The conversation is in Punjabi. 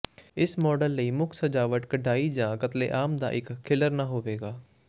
ਇਸ ਮਾਡਲ ਲਈ ਮੁੱਖ ਸਜਾਵਟ ਕਢਾਈ ਜਾਂ ਕਤਲੇਆਮ ਦਾ ਇੱਕ ਖਿਲਰਨਾ ਹੋਵੇਗਾ